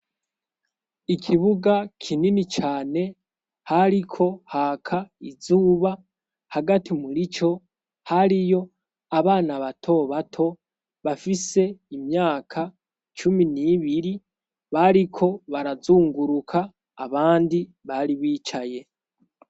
Ikibuga kinini cane hariko haka izuba hagati murico hariyo abana bato bato bafise imyaka cumi n'ibiri bariko barazunguruka abandi bari bicaye.